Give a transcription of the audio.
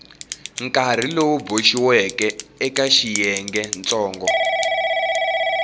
nkarhi lowu boxiweke eka xiyengentsongo